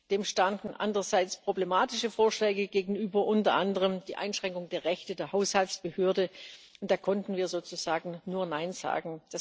Dem standen andererseits problematische Vorschläge gegenüber, unter anderem die Einschränkung der Rechte der Haushaltsbehörde, und da konnten wir sozusagen nur Nein sagen.